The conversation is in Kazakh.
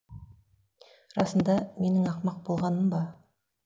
расында менің ақымақ болғаным ба